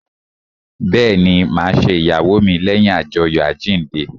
Bẹẹni, ma ṣe ìyàwó mi leyin ajoyo àjíǹde